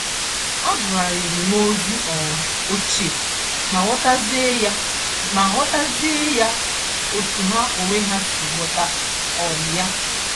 Agụgharịrịm.ozi um ochie, ma ghọtazie ya ma ghọtazie ya otú ha onwe ha si ghọta um ya.